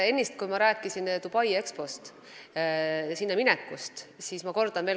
Ennist, kui ma rääkisin Dubai Expost ja sinna minekust, siis ütlesin valesti.